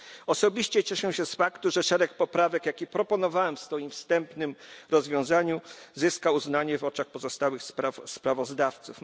Osobiście cieszę się z faktu, że szereg poprawek, jakie proponowałem w swoim wstępnym rozwiązaniu, zyskał uznanie w oczach pozostałych sprawozdawców.